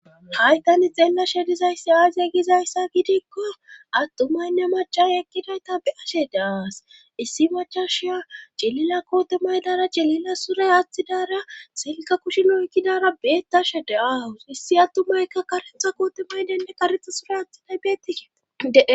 hay tani xeelashe dizayssi aaziya gizayssa gidikko attumaynne machash ekkidayta be7ashe daas issi machasha jilila koote maydara jelila sure aathidara selka kushinokidara beettashe da7aawus issi attumayka karetha kootemaydenne karexa sure athinay beetiee